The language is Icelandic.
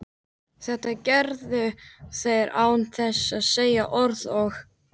Þetta gerðu þeir án þess að segja orð og